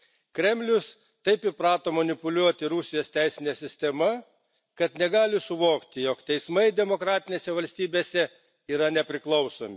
Kremlius taip įprato manipuliuoti Rusijos teisine sistema, kad negali suvokti, jog teismai demokratinėse valstybėse yra nepriklausomi.